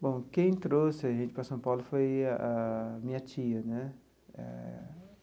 Bom, quem trouxe a gente para São Paulo foi a minha tia, né? Eh.